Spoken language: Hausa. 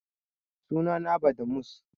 Suna na Badmus